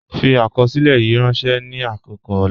Fi akọsilẹ̀ yìí rànṣẹ ni akọkọ ọlà.